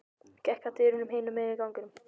Gekk að dyrum hinum megin á ganginum.